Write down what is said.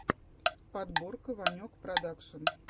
подборка ванек продакшн